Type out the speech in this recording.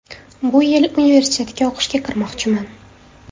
Bu yil universitetga o‘qishga kirmoqchiman.